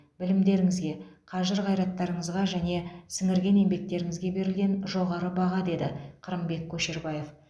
білімдеріңізге қажыр қайраттарыңызға және сіңірген еңбектеріңізге берілген жоғары баға деді қырымбек көшербаев